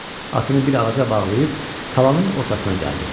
Atını bir ağaca bağlayıb, talanın ortasına gəldi.